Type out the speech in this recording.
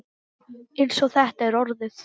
Eins og þetta er orðið.